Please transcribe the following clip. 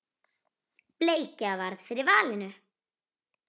Bleikja varð fyrir valinu.